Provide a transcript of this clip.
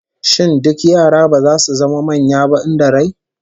Shin duk yara ba zasu zama manya ba in da rai?